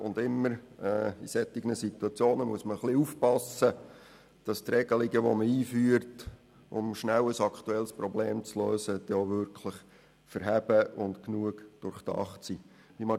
In solchen Situationen muss man jeweils aufpassen, dass die Regelungen, die man einführt, um schnell ein aktuelles Problem zu lösen, dann auch wirklich standhalten und genügend durchdacht sind.